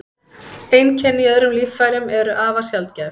Einkenni í öðrum líffærum eru afar sjaldgæf.